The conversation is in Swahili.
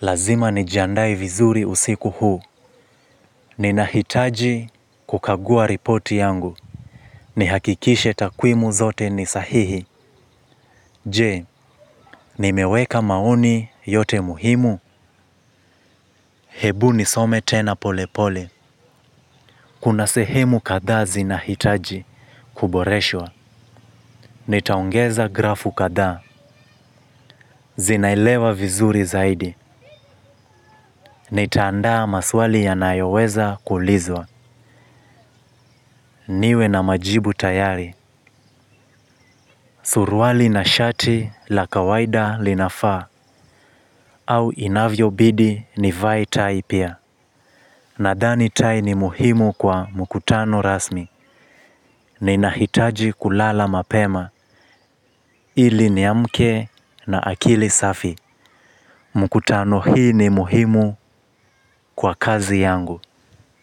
Lazima nijiandae vizuri usiku huu. Nina hitaji kukagua ripoti yangu. Ni hakikishe takwimu zote ni sahihi. Je, nimeweka maoni yote muhimu. Ebu nisome tena polepole kuna sehemu kadhaa zinahitaji kuboreshwa. Nitaongeza grafu kadhaa. Zinailewa vizuri zaidi. Nitaandaa maswali ya nayoweza kulizwa. Niwe na majibu tayari, suruali na shati la kawaida linafaa, au inavyo bidi nivae tai pia. Nadhani tai ni muhimu kwa mkutano rasmi, ni nahitaji kulala mapema, ili ni amke na akili safi. Mkutano hii ni muhimu kwa kazi yangu.